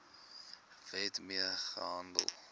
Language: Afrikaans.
wet mee gehandel